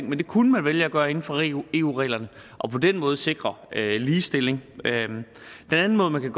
men det kunne man vælge at gøre inden for eu eu reglerne og på den måde sikre ligestilling den anden måde man kan